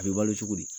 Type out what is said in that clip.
A bɛ balo cogo di